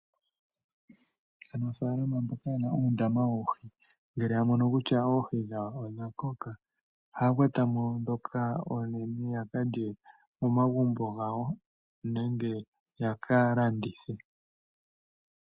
Aanafalama mboka yena uundama woohi, ngele ya mono kutya oohi dhawo odha koka, ohaya kwatamo dhoka oonene ya ka lye momagumbo gawo nenge ya ka landithe.